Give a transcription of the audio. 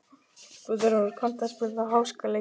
Guðráður, kanntu að spila lagið „Háskaleikur“?